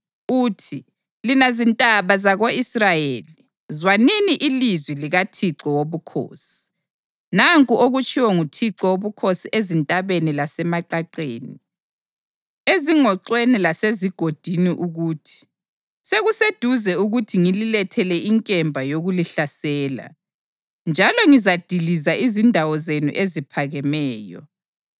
uthi, Lina zintaba zako-Israyeli, zwanini ilizwi likaThixo Wobukhosi. Nanku okutshiwo nguThixo Wobukhosi ezintabeni lasemaqaqeni, ezingoxweni lasezigodini ukuthi: Sekuseduze ukuthi ngililethele inkemba yokulihlasela, njalo ngizadiliza izindawo zenu eziphakemeyo.”